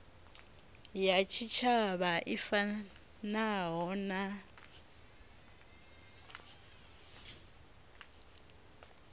ya tshitshavha i fanaho na